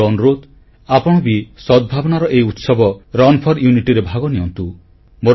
ମୋର ଅନୁରୋଧ ଆପଣ ବି ସଦ୍ଭାବନାର ଏହି ଉତ୍ସବ ରନ୍ ଫୋର ୟୁନିଟି ରେ ଭାଗ ନିଅନ୍ତୁ